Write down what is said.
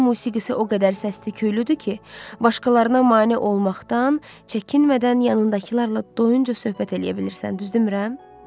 Onun musiqisi o qədər səsli küylüdür ki, başqalarına mane olmaqdan çəkinmədən yanındakılarla doyunca söhbət eləyə bilirsən, düzdürmürəm?